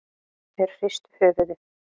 Þeir hristu höfuðið.